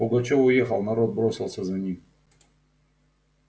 пугачёв уехал народ бросился за ним